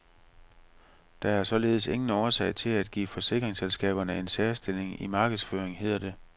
Der er således ingen årsag til at give forsikringsselskaberne en særstilling i markedsføring, hedder det.